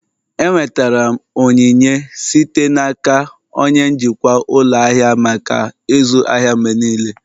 Enwetara m onyinye site n'aka onye njikwa ụlọ ahịa maka ịzụ ahịa mgbe niile